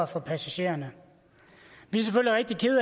for passagererne vi